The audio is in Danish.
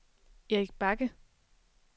Erik Bagge